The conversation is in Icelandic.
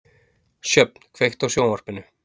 Sjöfn, kveiktu á sjónvarpinu.